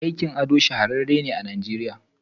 Aikin ado shahararren ne a nigeriya.